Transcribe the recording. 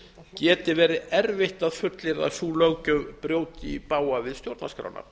geti verið erfitt að fullyrða að sú löggjöf brjóti í bága við stjórnarskrána